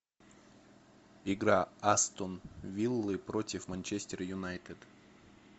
игра астон виллы против манчестер юнайтед